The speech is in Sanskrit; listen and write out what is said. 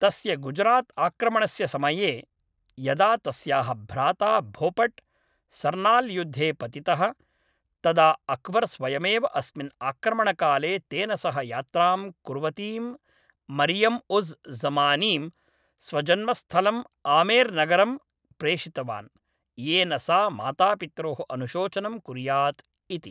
तस्य गुजरात्आक्रमणस्य समये यदा तस्याः भ्राता भोपट्, सरनाल् युद्धे पतितः, तदा अक्बर् स्वयमेव अस्मिन् आक्रमणकाले तेन सह यात्रां कुर्वतीं मरियम् उज़् ज़मानीं, स्वजन्मस्थलम् आमेर् नगरं प्रेषितवान्, येन सा मातापित्रोः अनुशोचनं कुर्यात् इति।